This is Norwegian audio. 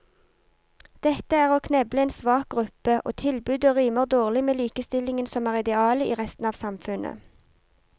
Dette er å kneble en svak gruppe, og tilbudet rimer dårlig med likestillingen som er idealet i resten av samfunnet.